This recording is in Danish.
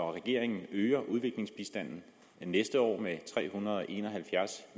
regeringen øger udviklingsbistanden næste år med tre hundrede og en og halvfjerds